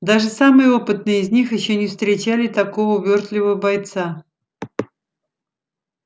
даже самые опытные из них ещё не встречали такого увёртливого бойца